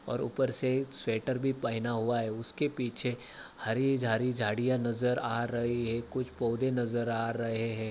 और ऊपर से स्वेटर भी पहना हुआ है उसके पीछे हरी-हरी झाडियाँ नज़र आ रही है कुछ पौधे नज़र आ रहे है।